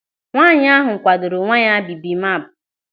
Nwaanyị ahụ kwadoro nwa ya bibimap.